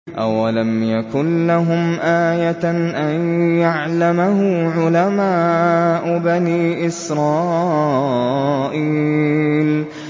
أَوَلَمْ يَكُن لَّهُمْ آيَةً أَن يَعْلَمَهُ عُلَمَاءُ بَنِي إِسْرَائِيلَ